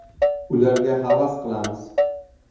Ularga havas qilamiz.